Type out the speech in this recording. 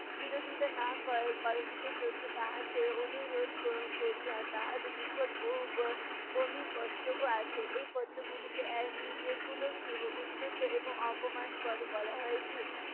বিরোধিতা না করা ~করা জন্য তাহাকে অনুরোধ ক~ করিয়া তাহার নিকট বহ~ ব~ বমি পত্রও আসে। এই পত্রগুলিকে এর উম এগুলো কী উদ্যত এবং অপমানকর বলা হয় যে